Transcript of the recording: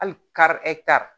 Hali kari